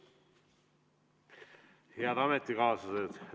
Head ametikaaslased!